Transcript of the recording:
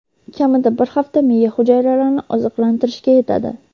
kamida bir hafta miya hujayralarini oziqlantirishga yetadi.